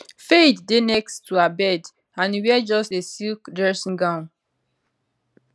fayed dey next to her bed and e wear just a silk dressing gown